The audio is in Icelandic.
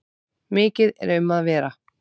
Mikið er um að vera.